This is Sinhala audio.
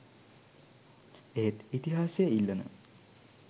එහෙත් ඉතිහාසය ඉල්ලන